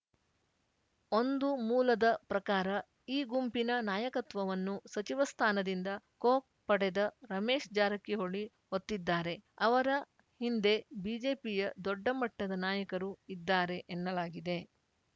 ಒಂದು ಮೂಲದ ಪ್ರಕಾರ ಈ ಗುಂಪಿನ ನಾಯಕತ್ವವನ್ನು ಸಚಿವ ಸ್ಥಾನದಿಂದ ಕೊಕ್‌ ಪಡೆದ ರಮೇಶ್‌ ಜಾರಕಿಹೊಳಿ ಹೊತ್ತಿದ್ದಾರೆ ಅವರ ಹಿಂದೆ ಬಿಜೆಪಿಯ ದೊಡ್ಡ ಮಟ್ಟದ ನಾಯಕರು ಇದ್ದಾರೆ ಎನ್ನಲಾಗಿದೆ